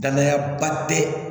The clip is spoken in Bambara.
Danayaba tɛ